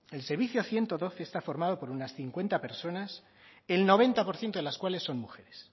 el servicio ciento doce está formado por unas cincuenta personas el noventa por ciento de las cuales son mujeres